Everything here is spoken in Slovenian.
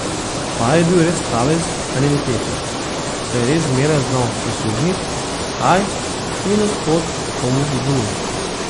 Pa je bil res kaveljc ta njen Pepi, saj je res zmeraj znal prisluhnit, kaj in od kod komu zvoni.